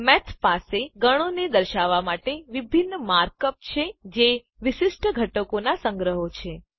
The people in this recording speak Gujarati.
મેથ પાસે ગણોને દર્શાવવાં માટે વિભિન્ન માર્ક અપ છે જે કે વિશિષ્ટ ઘટકોનાં સંગ્રહો છે